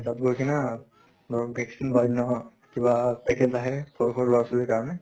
তাত গৈ কিনা ধৰক vaccine বা অন্য় কিবা package আহে সৰু সৰু লʼৰা ছোৱালীৰ কাৰণে